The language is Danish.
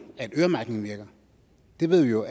at øremærkningen virker det ved vi jo